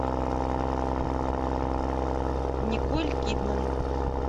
николь кидман